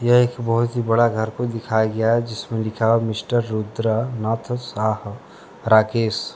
ये एक बहुत ही बड़ा घर को दिखाया गया है जिसमें लिखा हुआ है मिस्टर रुद्रा नाथ साह राकेश।